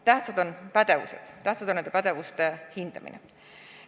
Tähtsad on pädevused ja tähtis on nende pädevuste hindamine.